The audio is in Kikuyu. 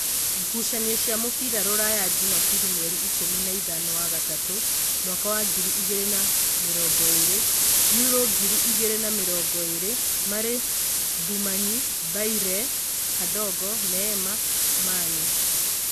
Ngucanio cia mũbira Ruraya Jumabiri mweri ikũmi na ĩthano wa gatatũ mwaka wa ngiri igĩrĩ na namĩrongoĩrĩ: Yuro ngiri igĩrĩ na mĩrongoĩrĩ, Marĩ, Mbumayĩ, Mbaire, Kandogo, Neema, Mani